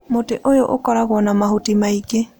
Mũtĩ ũyũ ũkoragwo na mahuti maingĩ.